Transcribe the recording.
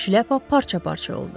Şlyapa parça-parça oldu.